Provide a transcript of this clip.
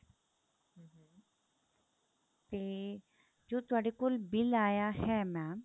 ਤੇ ਜੋ ਤੁਹਾਡੇ ਕੋਲ bill ਆਇਆ ਹੈ mam